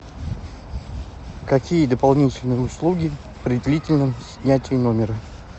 какие дополнительные услуги при длительном снятии номера